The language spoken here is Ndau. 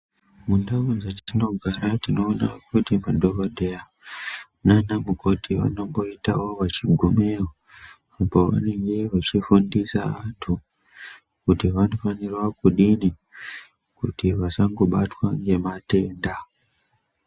Mundau dzatinogara tinoona kuti madhokodheya nanamukoti vanomboita vachigumeyo vachifundisa vantu kuti vanofanira kudini kuti vasabatwa ngematenda.